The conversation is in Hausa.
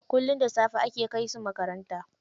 Kullum da safe ake kai su makaranta.